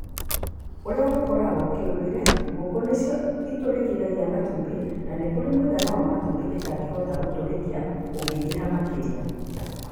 Urĩa gũkoragwo, kĩũndũire-rĩ , ngũkũ nĩcio itũrĩkagia matumbĩ, no nĩkũrĩ mũigana wa matumbĩ itangĩhota gũtũrĩkia ũngĩingĩha makĩria.